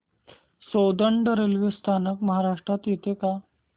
Soundad railway स्थानक महाराष्ट्रात येतं का